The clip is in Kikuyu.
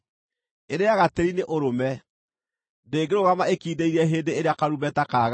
Irĩĩaga tĩĩri nĩ ũrũme; ndĩngĩrũgama ĩkindĩirie hĩndĩ ĩrĩa karumbeta kagamba.